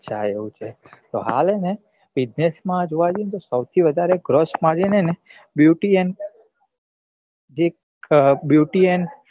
અચ્છા એવું છે તો હાલ હે ને business માં જોવા જઈએ ને તો સૌથી વધારે crush margin હે ને beauty and એક beauty and